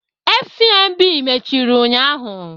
Fcmb mechiri ụnyahụ.